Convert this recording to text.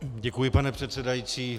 Děkuji, pane předsedající.